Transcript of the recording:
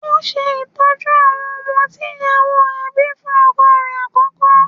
Ó ń ṣe ìtọ́jú àwọn ọmọ tí ìyàwó rẹ̀ bíi fún ọkọ rẹ̀ àkọ́kọ́.